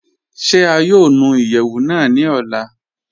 Ṣé à yóò nù ìyẹwu náà ní òlà?